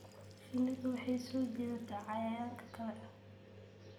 Shinnidu waxay soo jiidataa cayayaanka kale.